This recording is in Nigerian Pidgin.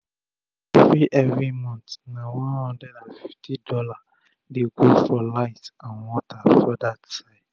everi everi month na $150 dey go for light and water for dat side